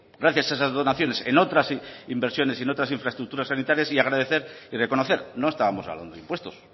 gracias a esas donaciones en otras inversiones y en otras infraestructuras sanitarias y agradecer y reconocer no estábamos hablando de impuestos